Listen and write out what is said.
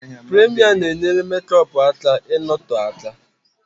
Pụraima na-enyere mekọpu aka ị nọtoo aka